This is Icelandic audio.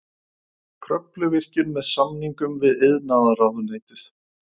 Kröfluvirkjun með samningum við iðnaðarráðuneytið.